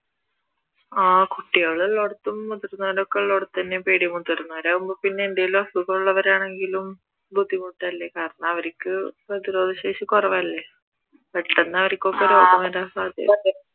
ആഹ് കുട്ടികൾ ഉള്ളടുത്തും മുതിർന്നവർ ഒക്കെ ഉള്ളാടത്തുതന്നെ പേടി മുതിർന്നവർ ആകുമ്പോ എന്തെങ്കിലും അസുഖം ഉള്ളവരാണെങ്കിലും ബുദ്ധിമുട്ടല്ലേ കാരണം അവർക്ക് പ്രതിരോധ ശേഷി കുറവ് അല്ലെ പെട്ടെന്നു അവർക്കൊക്കെ രോഗം വരാൻ സാധ്യതയാ